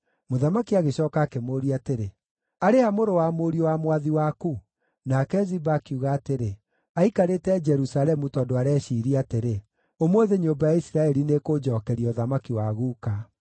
Mũthamaki agĩcooka akĩmũũria atĩrĩ, “Arĩ ha mũrũ wa mũriũ wa mwathi waku?” Nake Ziba akiuga atĩrĩ, “Aikarĩte Jerusalemu, tondũ areciiria atĩrĩ, ‘Ũmũthĩ nyũmba ya Isiraeli nĩĩkũnjookeria ũthamaki wa guka.’ ”